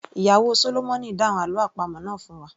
Ìyàwó sólómọ̀nì dáhùn àlọ́ àpamọ̀ náà fún wa